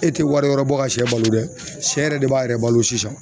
E tɛ wari wɛrɛ bɔ ka sɛ balo dɛ sɛ yɛrɛ de b'a yɛrɛ balo sisan